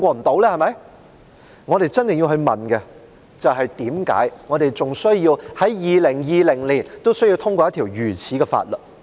但我們真的要問，為何我們在2020年還需要通過一項如此的法律？